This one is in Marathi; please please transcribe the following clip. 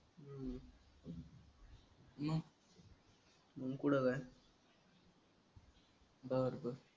मग? मग पुढं काय? बरं बरं.